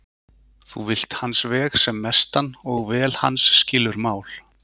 Þú vilt hans veg sem mestan og vel hans skilur mál.